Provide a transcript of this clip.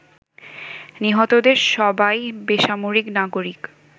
নিহতদের সবাই বেসামরিক নাগরিক।